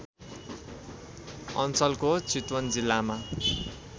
अञ्चलको चितवन जिल्लामा